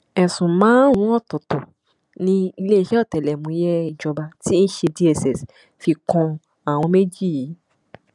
ẹsùn márùnún ọtọọtọ ni iléeṣẹ ọtẹlẹmúyẹ ìjọba tí í ṣe dss fi kan àwọn méjì yìí